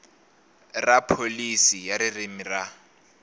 ra pholisi ya ririmi ra